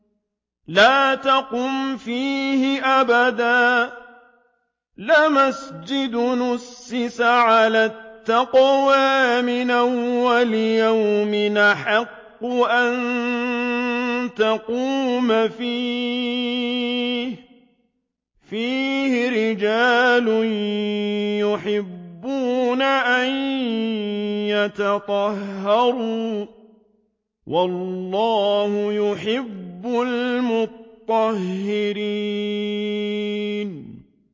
لَا تَقُمْ فِيهِ أَبَدًا ۚ لَّمَسْجِدٌ أُسِّسَ عَلَى التَّقْوَىٰ مِنْ أَوَّلِ يَوْمٍ أَحَقُّ أَن تَقُومَ فِيهِ ۚ فِيهِ رِجَالٌ يُحِبُّونَ أَن يَتَطَهَّرُوا ۚ وَاللَّهُ يُحِبُّ الْمُطَّهِّرِينَ